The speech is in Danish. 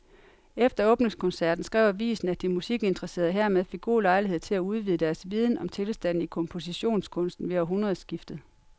Efter åbningskoncerten skrev avisen, at de musikinteresserede hermed fik god lejlighed til at udvide deres viden om tilstanden i kompositionskunsten ved århundredskiftet.